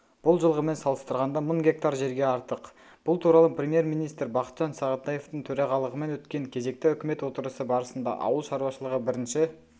бұл жылғымен салыстырғанда мың гектар жерге артық бұл туралы премьер-министрі бақытжан сағынтаевтың төрағалығымен өткен кезекті үкімет отырысы барысында ауыл шаруашылығы бірінші